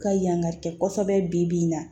Ka yangari kɛ kosɛbɛ bi na